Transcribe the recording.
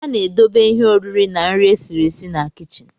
A na-edobe ihe oriri na nri esiri esi na kichin